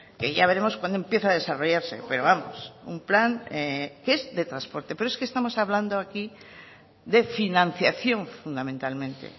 que ya veremos cuándo empieza a desarrollarse pero vamos un plan que es de transporte pero es que estamos hablando aquí de financiación fundamentalmente